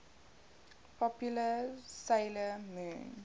popular 'sailor moon